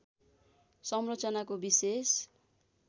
संरचनाको विशेष